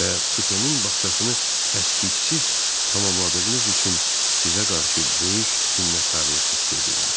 Və Supe-nin bağçasını əskiksiz tamamladığınız üçün sizə qarşı böyük minnətdarlıq hiss edirəm.